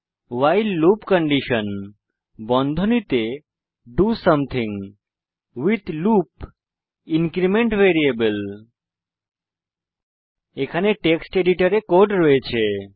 while loop condition do something with loop increment variable আমার কাছে ইতিমধ্যে টেক্সট এডিটর এ কোড রয়েছে